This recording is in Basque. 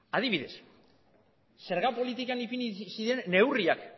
adibidez zerga politikan ipini ziren neurriak